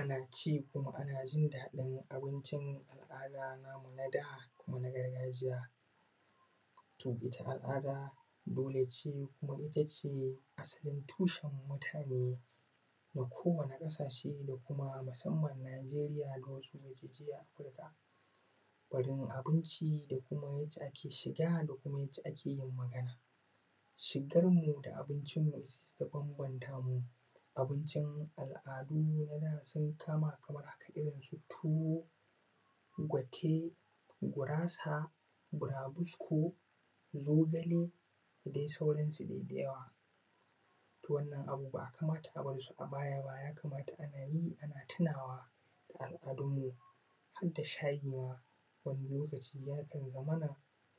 Ana ci kuma ana jin daɗin abincin al`ada mu na da kuma na gargajiya, to ita al`ada dole ce kuma itace asalin tushen mutane na kowani ƙasashe da kuma musamman najeriya da wasu yankin a afirika, barin abinci da yadda ake shiga da kuma yadda ake yin magana, shigar mu da abincin mu su suka bambanta mu abincin al`adun mu yana sun kama kamar haka irin su tuwo, gwate, gurasa, bura bisko, zogale da dai sauransu dai da yawa, to wannan abu bai kamata a barsu a baya ba ya kamata ana yi ana tunawa da al`adun mu har da shayi ma wani lokaci yakan zamana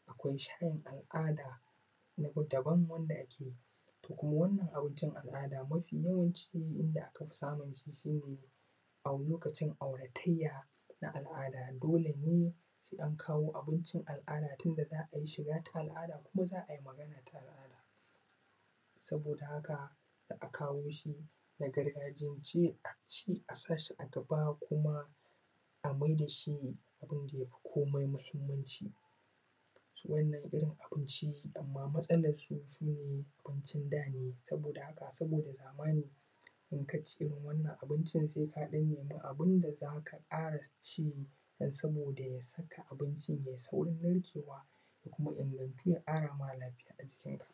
akwai shayin al`ada na daban wanda ake, to kuma wannan abincin al`ada mafi yawanci in da aka fi samu shi ne a lokacin auratayya na al`ada dole ne sai an kawo abincin al`ada tunda za`a yi shiga ta al`ada kuma za`ai magana ta al`ada, saboda haka za`a kawo shi a gargajiyance a ci a sashi a gaba kuma a mai da shi abin da yafi komai mahimmanci. so wannan irin abinci amma matsalansu abincin da ne saboda haka saboda zamani in kaci irin wannan abincin sai ka ɗan samu abun da zaka ƙara ci don saboda ya sakar maka abincin yai saurin narkewa ya kuma ƙara ma lafiya a jikin ka.